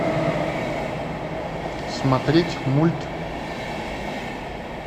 смотреть мульт